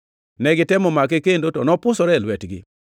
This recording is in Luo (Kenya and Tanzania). Ne gitemo make kendo, to nopusore e lwetgi.